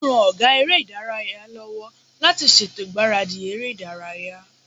Ó ran ọgá eré ìdárayá lọ́wọ́ láti ṣètò ìgbáradì eré ìdárayá